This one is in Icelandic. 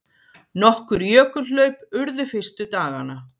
Nokkur jökulhlaup urðu fyrstu dagana.